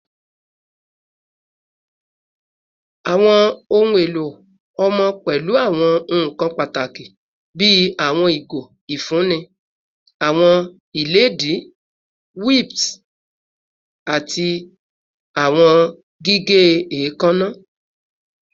Awọn ohun elo ọmọ pẹlu awọn nkan pataki bii awọn igo ifunni, awọn iledìí, wipes, ati awọn gige eekanna